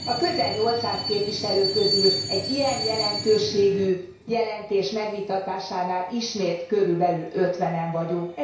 A közel 800 képviselő közül egy ilyen jelentőségű jelentés megvitatásánál ismét körülbelül ötvenen vagyunk.